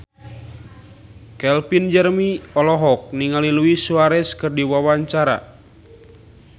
Calvin Jeremy olohok ningali Luis Suarez keur diwawancara